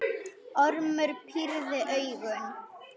Ormur pírði augun.